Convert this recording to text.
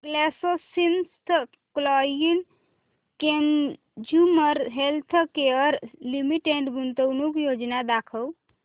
GlaxoSmithKline consumer healthcare limited गुंतवणूक योजना दाखव